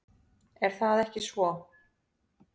Er það ekki svo?